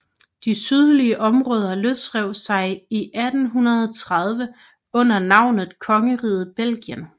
De sydlige områder løsrev sig i 1830 under navnet Kongeriget Belgien